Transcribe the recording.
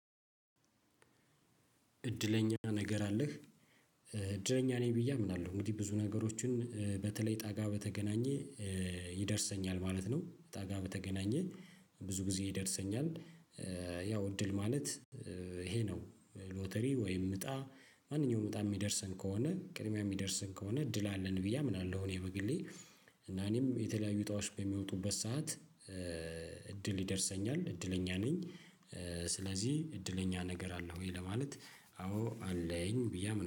እድለኛ ነገር አለህ? እድለኛ ነኝ ብዬ አምናለሁ እንግዲህ ብዙ ነገሮችን በተለይ እጣ ጋ በተገናኘ ይደርሰኛል ማለት ነው። እጣ ጋ በተገናኘ ብዙ ጊዜ ይደርሰኛል። ያው እድል ማለት ይሄ ነው ሎተሪ ወይም እጣ ማንኛውም እጣ የሚደርሰን ከሆነ ቅድሚያ የሚደርሰን ከሆነ እድል አለን ብዬ አምናለሁ። እኔ በግሌ እና እኔም የተለያዩ እጣዎች በሚወጡበት ሰዓት እድል ይደርሰኛል እድለኛ ነኝ። ስለዚህ እድለኛ ነገር አለህ ወይ ለማለት? አዎ አለኝ ብዬ አምና